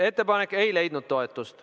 Ettepanek ei leidnud toetust.